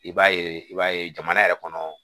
I b'a ye i b'a ye jamana yɛrɛ kɔnɔ